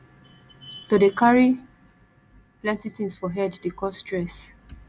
to dey carry plenty tins for head dey cause stress